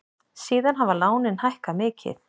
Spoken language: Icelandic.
Síðan hafa lánin hækkað mikið.